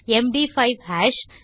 MD five hash